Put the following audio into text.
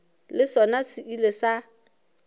le sona se ile sa